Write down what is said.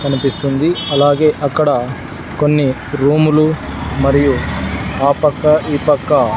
కనిపిస్తుంది అలాగే అక్కడ కొన్ని రూములు మరియు ఆ పక్క ఈ పక్క--